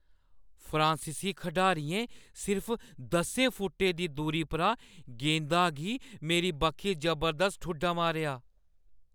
फ्रांसीसी खढारियें सिर्फ दस्सें फुट्टें दी दूरी परा गेंदा गी मेरी बक्खी जबरदस्त ठुड्डा मारेआ।